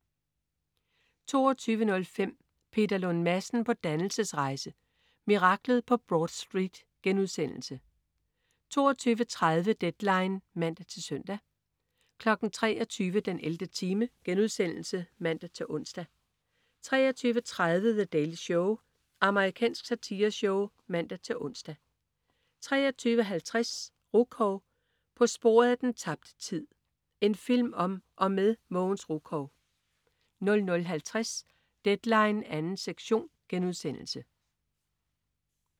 22.05 Peter Lund Madsen på dannelsesrejse. Miraklet på Broad Street* 22.30 Deadline (man-søn) 23.00 den 11. time* (man-ons) 23.30 The Daily Show. Amerikansk satireshow (man-ons) 23.50 Rukov. På sporet af den tabte tid. En film om og med Mogens Rukov 00.50 Deadline 2. sektion*